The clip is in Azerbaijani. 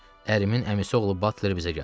Ərimin əmisi oğlu Batler bizə gəldi.